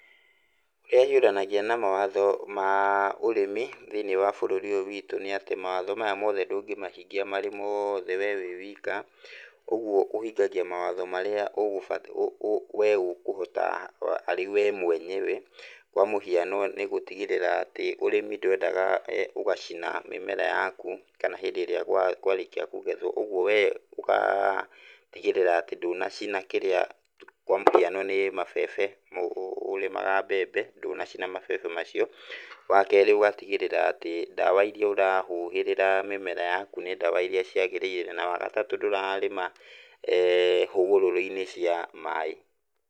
Ũrĩa hiũranagia na mawatho ma ũrĩmi thĩiniĩ wa bũrũri ũyũ witũ nĩ atĩ mawatho maya mothe ndũngĩmahingia marĩ mothe we ũrĩ wika, ũguo ũhingagia mawatho marĩa we ũkũhota arĩ we mwenyewe. Kwa mũhiano nĩ gũtigĩrĩra atĩ ũrĩmi ndwendaga ũgacina mĩmera yaku kana hĩndĩ ĩrĩa kwarĩkia kũgethwo, ũguo wee ũgatigĩrĩra atĩ ndũnacina kĩrĩa kwa mũhiano nĩ mabebe, ũrĩmaga mbembe ndũnacina mabebe macio. Wakerĩ ũgatigĩrĩra atĩ ndawa iria ũrahuhĩrĩra mĩmera yaku nĩ ndawa iria ciagĩrĩire. Na wagatatũ ndũrarĩma hũgũrũrũ-inĩ cia maĩ.